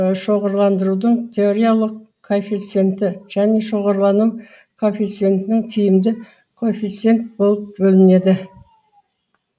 шоғырландырудың теориялық коэффициенті және шоғырлану коэффициентінің тиімді коэффициент болып бөлінеді